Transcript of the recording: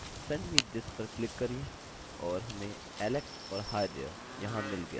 send me this पर click करिये और हमें alex और hi there! यहाँ मिल गया